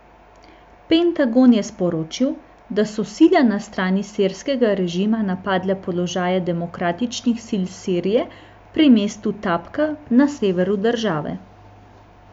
Pentagon je sporočil, da so sile na strani sirskega režima napadle položaje Demokratičnih sil Sirije pri mestu Tabka na severu države.